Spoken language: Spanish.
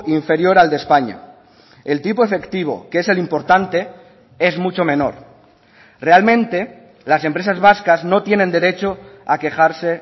inferior al de españa el tipo efectivo que es el importante es mucho menor realmente las empresas vascas no tienen derecho a quejarse